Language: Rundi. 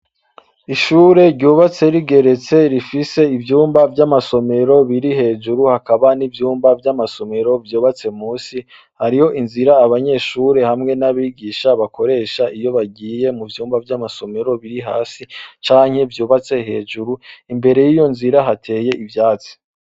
Ishure ryubatse rigeretse rifise ivyumba vyamasomero biri hejuru hakaba nivyumba vyamasomero vyubatse munsi hariho inzira abanyeshure hamwe nabigisha bakoresha iyo bagiye muvyumba vyamasomero biri hasi canke vyubatse hejuru imbere yiyo nzira hateye ivyatsi.